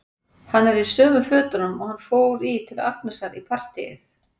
Hann er í sömu fötunum og hann fór í til Agnesar í partíið.